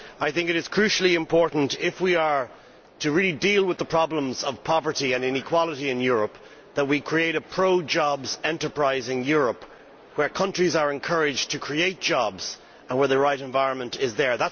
I think it is crucially important if we are to really deal with the problems of poverty and inequality in Europe that we create a pro jobs, enterprising Europe where countries are encouraged to create jobs and where the right environment is there.